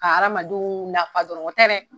ka aramadenw nafa dɔrɔn o tɛ dɛ!